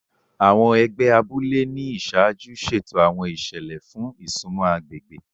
Àwọn egbé abúlé ní iṣaaju ṣeto àwọn ìṣẹlẹ fún isunmọ agbègbè